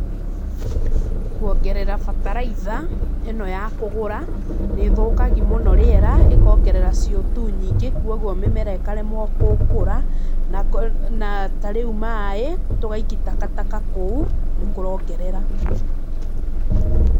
Kuongerera bataraitha, ĩno ya kũgũra nĩ thũkagi mũno rĩera, ĩkongerera CO2 nyingĩ, koguo mĩmera ĩkaremwo kũ kũra, na ko, na ta rĩu maĩ, tũgaikia takataka kũu, nĩkũrongerera.